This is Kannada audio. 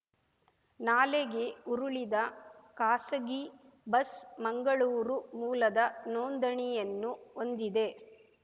ನಾಲೆಗೆ ಉರುಳಿದ ಖಾಸಗಿ ಬಸ್ ಮಂಗಳೂರು ಮೂಲದ ನೋಂದಣಿಯನ್ನು ಹೊಂದಿದೆ